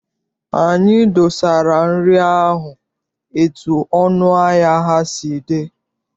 Anyị dosara nri ahụ etu ọnụ ahịa ha si dị.